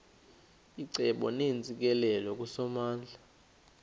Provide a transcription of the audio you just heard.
icebo neentsikelelo kusomandla